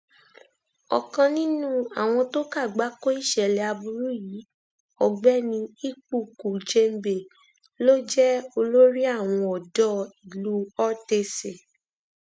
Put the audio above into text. ọkan nínú àwọn tó kàgbákò ìṣẹlẹ aburú yìí ọgbẹni ikpuku jembe ló jẹ olórí àwọn ọdọ ìlú ortese